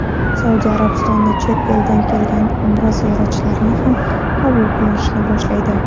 Saudiya Arabistoni chet eldan kelgan umra ziyoratchilarini ham qabul qilishni boshlaydi.